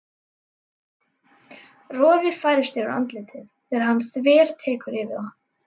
Roði færist yfir andlitið þegar hann þvertekur fyrir það.